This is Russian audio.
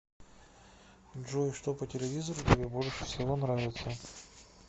джой что по телевизору тебе больше всего нравится